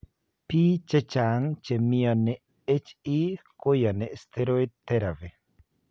Pi chechang che mioni HE koyani steroid therapy.